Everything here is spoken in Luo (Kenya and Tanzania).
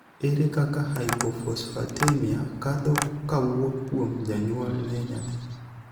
ere kaka hypophosphatemia kadho kawuok kuom janyuol ne nyathi?